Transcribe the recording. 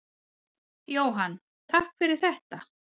Jóhann: Takk fyrir þetta.